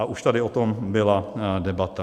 A už tady o tom byla debata.